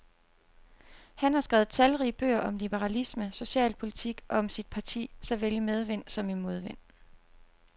Han har skrevet talrige bøger om liberalisme, socialpolitik og om sit parti, såvel i medvind som i modvind.